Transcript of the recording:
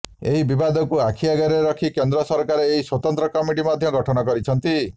ଏହି ବିବାଦକୁ ଆଖି ଆଗରେ ରଖି କେନ୍ଦ୍ର ସରକାର ଏକ ସ୍ୱତନ୍ତ୍ର କମିଟି ମଧ୍ୟ ଗଠନ କରିଛନ୍ତି